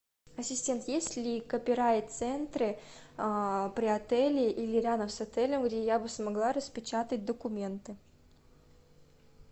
ассистент есть ли копирайт центры при отеле или рядом с отелем где я бы смогла распечатать документы